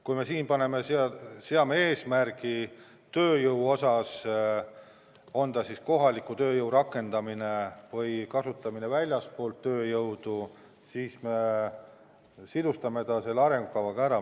Kui me siin seaksime eesmärgi tööjõu osas, olgu see kohaliku tööjõu rakendamine või väljastpoolt tulnud tööjõu kasutamine, siis me seoksime selle arengukavaga ära.